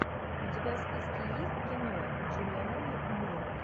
у тебя в списке есть кино джулианна мур